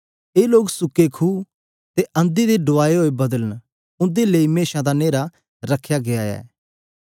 ए लोक सुके खुएं अते अंधी दे उड़ाए होए बादल न उन्दे लेई अनन्त न्हेरा रख्या गीया ऐ